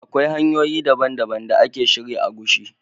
Akwai hanyoyi dabban-dabban da a ke shirya agushi.